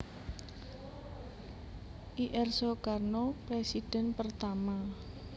Ir Soekarno Presiden Pertama